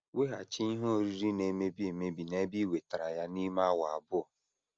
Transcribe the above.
Weghachi ihe oriri na - emebi emebi n’ebe i wetara ya n’ime awa abụọ.